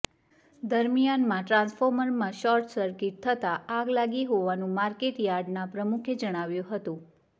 દરમિયાનમાં ટ્રાન્સફોર્મરમાં short circuit થતા આગ લાગી હોવાનું માર્કેટ યાર્ડના પ્રમુખે જણાવ્યું હતું